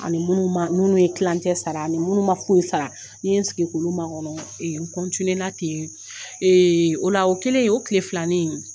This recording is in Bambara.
Ani munnu ma munnu ye kilancɛ sara ani munnu ma foyi sara n ye sigi k'olu ma kɔnɔ e u kɔntinyela ten ee ola o kɛlen ye o kile filanin